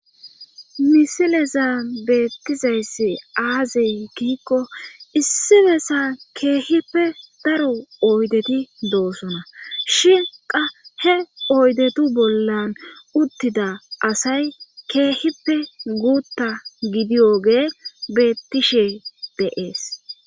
misileza beettizayssi aazi giikko issi besa keehippe daro oydeti doosona shin qa he oydetu bollan uttida asay keehippe guutta gidiyoge bettishe de7ees